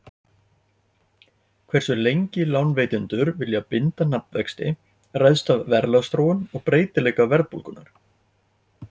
Hversu lengi lánveitendur vilja binda nafnvexti ræðst af verðlagsþróun og breytileika verðbólgunnar.